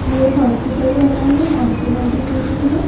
ये एक हॉस्पिटल बना है हॉस्पिटल की बिल्डिंग है।